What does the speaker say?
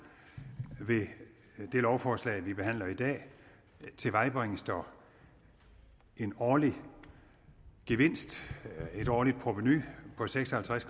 det lovforslag vi behandler i dag tilvejebringes der en årlig gevinst et årligt provenu på seks og halvtreds